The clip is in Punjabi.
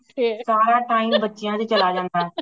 ਸਾਰਾ time ਬੱਚਿਆਂ ਤੇ ਹੀ ਚਲਿਆ ਜਾਂਦਾ ਹੇ